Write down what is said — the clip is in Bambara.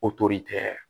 O tori tɛ